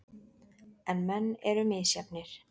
En menn eru misjafnir.